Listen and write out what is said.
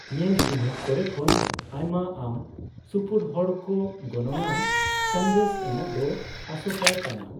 ᱧᱮᱞᱼᱪᱤᱱᱦᱟᱹᱯ ᱠᱚᱨᱮ ᱠᱷᱚᱱ ᱟᱭᱢᱟ ᱟᱢ ᱥᱩᱯᱩᱨ ᱦᱚᱲ ᱠᱚ ᱜᱚᱱᱚᱝᱟᱱ ᱥᱟᱸᱫᱮᱥ ᱮᱢᱚᱜ ᱫᱚ ᱟᱥᱳᱠᱟᱭ ᱠᱟᱱᱟ ᱾